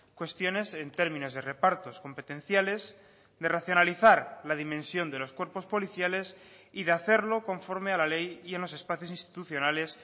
cuestiones en términos de repartos competenciales de racionalizar la dimensión de los cuerpos policiales y de hacerlo con forme a la ley y en los espacios institucionales